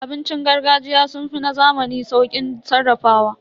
Abincin gargajiya sun fi na zamani sauƙin sarrafawa.